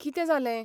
कितें जालें?